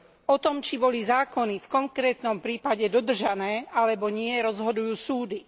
O tom, či boli zákony v konkrétnom prípade dodržané alebo nie, rozhodujú súdy.